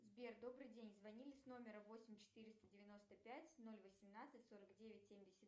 сбер добрый день звонили с номера восемь четыреста девяносто пять ноль восемнадцать сорок девять семьдесят